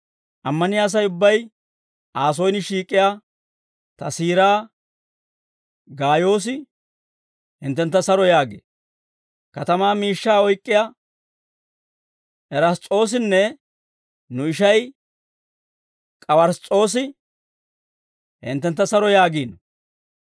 Ammaniyaa Asay ubbay Aa soyin shiik'iyaa ta siiraa Gaayoosi hinttentta saro yaagee; katamaa miishshaa oyk'k'iyaa Erass's'oosinne nu ishay K'uwars's'oosi hinttentta saro yaagiino.